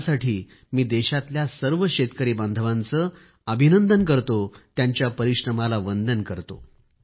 यासाठी मी देशातल्या सर्व शेतकरी बांधवांचे अभिनंदन करतो त्यांच्या परिश्रमाला वंदन करतो